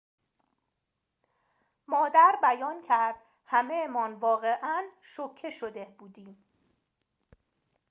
مادر بیان کرد همه‌مان واقعاً شوکه شده بودیم